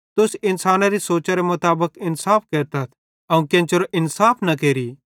तुस इन्सानेरी सोचरे मुताबिक इन्साफ केरतथ अवं केन्चेरी इन्साफ न केरि